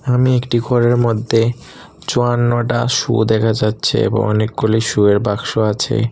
আমি একটি ঘরের মধ্যে চুয়ান্নটা সু দেখা যাচ্ছে এবং অনেকগুলি সু এর বাক্স আছে।